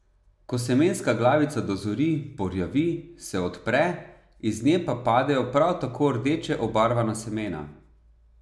Ko semenska glavica dozori, porjavi, se odpre, iz nje pa padejo prav tako rdeče obarvana semena.